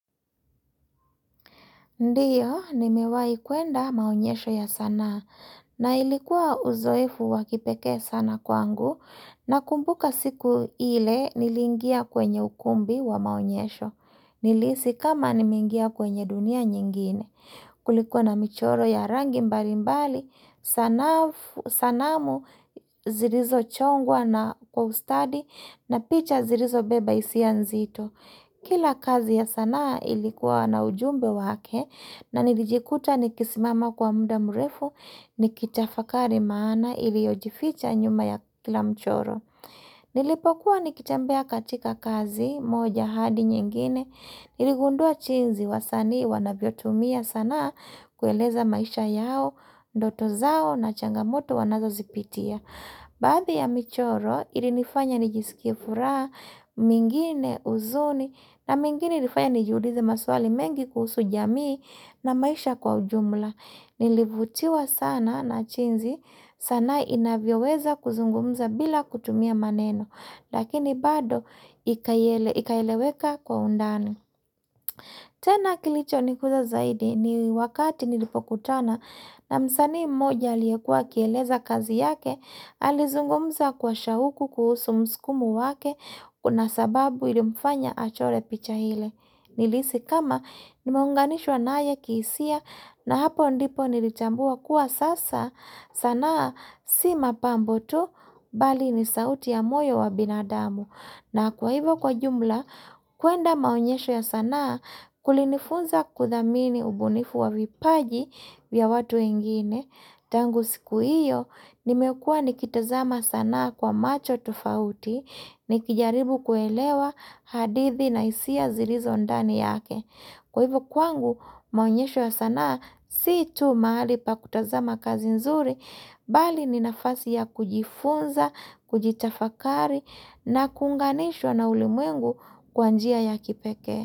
Ndio, nimewahi kwenda maonyesho ya sanaa. Na ilikuwa uzoefu wakipekee sana kwangu. Na kumbuka siku ile niliingia kwenye ukumbi wa maonyesho. Nilihisi kama nimeingia kwenye dunia nyingine. Kulikuwa na michoro ya rangi mbali mbali. Sanamu zilizochongwa na kwa ustadi na picha zilizobeba hisia nzito. Kila kazi ya sanaa ilikuwa na ujumbe wake na nilijikuta nikisimama kwa muda mrefu nikitafakari maana iliyojificha nyuma ya kila mchoro. Nilipokuwa nikitambea katika kazi moja hadi nyingine niligundua jinzi wasani wanavyotumia sanaa kueleza maisha yao, doto zao na changamoto wanazozipitia. Baadhi ya michoro ilinifanya nijisikie furaha, mingine huzuni na mingine ilifanya nijueize maswali mengi kuhusu jamii na maisha kwa ujumla. Nilivutiwa sana na jinzi sanaa inavyoweza kuzungumza bila kutumia maneno. Lakini bado ikaeleweka kwa undani. Tena kilicho ni kuza zaidi ni wakati nilipokutana na msanii mmoja aliyekuwa akieleza kazi yake, alizungumza kwa shauku kuhusu mskumo wake, kuna sababu ilimfanya achore picha hile. Nilihisi kama nimeunganishwa naaya kihisia na hapo ndipo nilichambua kuwa sasa sanaa si mapambo tu mbali ni sauti ya moyo wa binadamu. Na kwa hivyo kwa jumla kuenda maonyesho ya sanaa kulinifunza kudhamini ubunifu wa vipaji vya watu wengine. Tangu siku iyo, nimekuwa nikitazama sanaa kwa macho tofauti, nikijaribu kuelewa hadithi na hisia zilizo ndani yake. Kwa hivyo kwangu, maonyesho ya sanaa, si tu mahali pakutazama kazi nzuri, bali ninafasi ya kujifunza, kujitafakari, na kuunganishwa na ulimwengu kwa njia ya kipekee.